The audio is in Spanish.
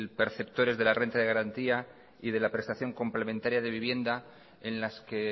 perceptores de la renta de garantía y de la prestación complementaria de vivienda en las que